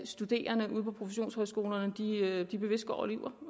studerende ude på professionshøjskolerne bevidst går og lyver